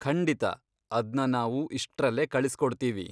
ಖಂಡಿತಾ, ಅದ್ನ ನಾವು ಇಷ್ಟ್ರಲ್ಲೇ ಕಳಿಸ್ಕೊಡ್ತೀವಿ.